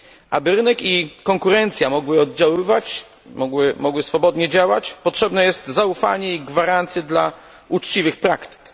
Aby rynek i konkurencja mogły oddziaływać, mogły swobodnie działać, potrzebne jest zaufanie i gwarancje dla uczciwych praktyk.